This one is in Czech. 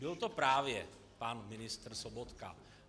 Byl to právě pan ministr Sobotka.